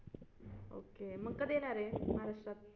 Okay मग कधी येणार आहे महाराष्ट्रात?